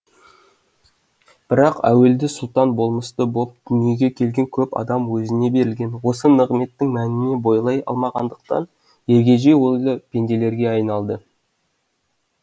бірақ әуелде сұлтан болмысты боп дүниеге келген көп адам өзіне берілген осы нығметтің мәніне бойлай алмағандықтан ергежей ойлы пенделерге айналды